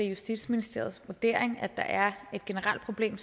justitsministeriets vurdering at der er et generelt problem